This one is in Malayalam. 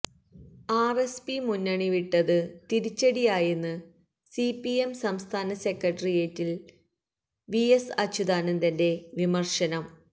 ആര്എസ്പി മുന്നണി വിട്ടത് തിരിച്ചടി ആയെന്ന് സിപിഎം സംസ്ഥാന സെക്രട്ടറിയേറ്റില് വി എസ് അച്യുതാനന്ദന്റെ വിമര്ശനം